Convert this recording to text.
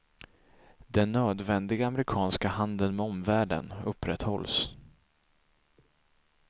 Den nödvändiga amerikanska handeln med omvärlden upprätthålls.